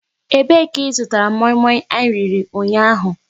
E be ka ị zụtara moi moi anyị riri ụnyaahụ?